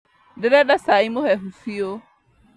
Ndĩrenda cai mũhehu biũ